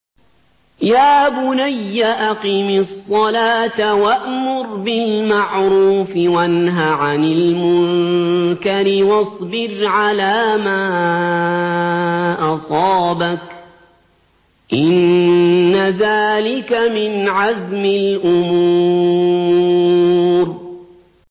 يَا بُنَيَّ أَقِمِ الصَّلَاةَ وَأْمُرْ بِالْمَعْرُوفِ وَانْهَ عَنِ الْمُنكَرِ وَاصْبِرْ عَلَىٰ مَا أَصَابَكَ ۖ إِنَّ ذَٰلِكَ مِنْ عَزْمِ الْأُمُورِ